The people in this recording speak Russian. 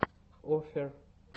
оффер